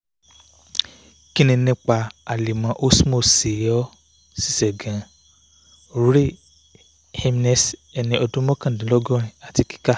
ki ni nipa alemo osmo ṣe o ṣiṣẹ gaan? ray heimsness ẹni ọdun mọkandinlọgọrin ati kika